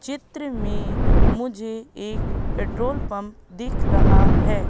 चित्र में मुझे एक पेट्रोल पंप दिख रहा है।